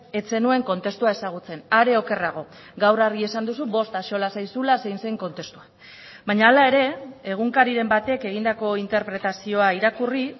ez zenuen kontestua ezagutzen are okerrago gaur argi esan duzu bost axola zaizula zein zen kontestua baina hala ere egunkariren batek egindako interpretazioa irakurri